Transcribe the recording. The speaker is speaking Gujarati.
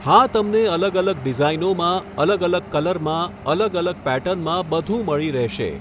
હા તમને અલગ અલગ ડિઝાઇનોમાં અલગ અલગ કલરમાં અલગ અલગ પેટર્નમાં બધું મળી રહેશે